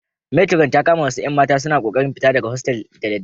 Meturon ta kama wasu 'yan mata suna kokarin fita daga hostel da daddare.